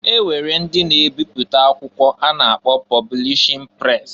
E nwere ndị na-ebipụta akwụkwọ a na-akpọ pọblishin pres.